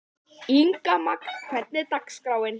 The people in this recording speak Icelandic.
Ingimagn, hvernig er dagskráin?